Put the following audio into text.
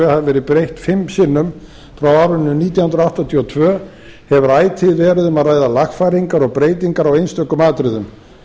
hafi verið breytt fimm sinnum frá árinu nítján hundruð áttatíu og tvö hefur ætíð verið um að ræða lagfæringar og breytingar á einstökum atriðum